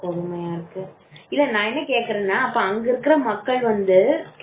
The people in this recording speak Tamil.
இல்ல நான் என்ன கேட்கிறேன்னா அங்க இருக்கிற மக்கள் வந்து